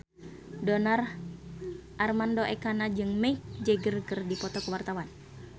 Donar Armando Ekana jeung Mick Jagger keur dipoto ku wartawan